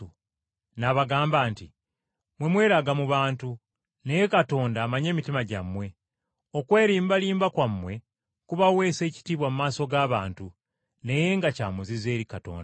N’abagamba nti, “Mmwe mweraga mu bantu, naye Katonda amanyi emitima gyammwe. Okwerimbalimba kwammwe kubaweesa ekitiibwa mu maaso g’abantu, naye nga kya muzizo eri Katonda.